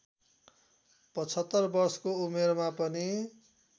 ७५ वर्षको उमेरमा पनि